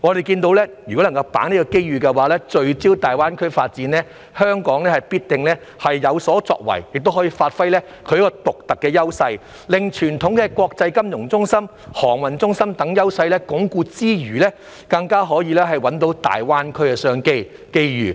如果能夠把握這個機遇，聚焦大灣區發展，香港必定會有所作為，亦可發揮獨特的優勢，除了可鞏固傳統的國際金融中心、航運中心等優勢外，更可找到大灣區的商機和機遇。